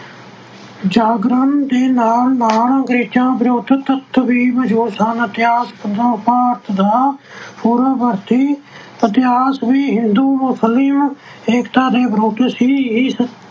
ਜਾਗਰਣ ਦੇ ਨਾਲ ਨਾਲ ਅੰਗਰੇਜ਼ਾਂ ਵਿਰੁੱਧ ਦਾ ਇਤਿਹਾਸ ਵੀ ਹਿੰਦੂ ਮੁਸਲਿਮ ਏਕਤਾ ਦੇ ਵਿਰੁੱਧ ਸੀ ਇਸ